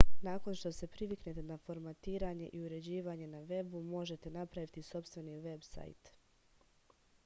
nakon što se priviknete na formatiranje i uređivanje na vebu možete napraviti sopstveni veb-sajt